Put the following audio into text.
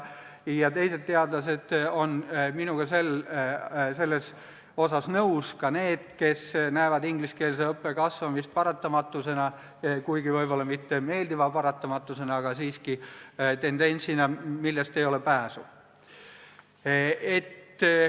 Teised teadlased on minuga selles osas nõus, ka need, kes näevad ingliskeelse õppe kasvamist paratamatusena, kuigi võib-olla mitte meeldiva paratamatusena, aga siiski tendentsina, millest ei ole pääsu.